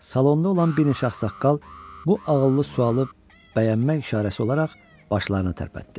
Salonda olan bir neçə ağsaqqal bu ağıllı sualı bəyənmək işarəsi olaraq başlarını tərpətdi.